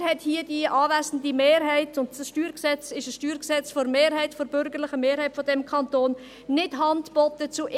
Leider hat die hier anwesende Mehrheit – dieses StG ist ein StG der bürgerlichen Mehrheit dieses Kantons – zu den x Vorschlägen nicht Hand geboten.